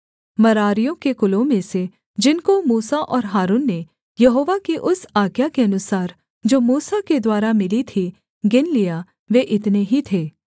मरारियों के कुलों में से जिनको मूसा और हारून ने यहोवा की उस आज्ञा के अनुसार जो मूसा के द्वारा मिली थी गिन लिया वे इतने ही थे